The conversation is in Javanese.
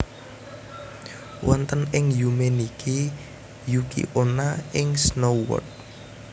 Wonten ing Yume Nikki Yuki Onna ing Snow World